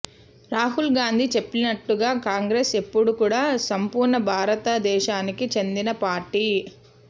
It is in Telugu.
రాహుల్ గాంధీ చెప్పినట్లుగా కాంగ్రెస్ ఎప్పుడూ కూడా సంపూర్ణ భారత దేశానికి చెందిన పార్టీ